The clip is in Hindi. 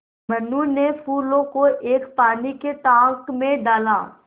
मनु ने फूलों को एक पानी के टांक मे डाला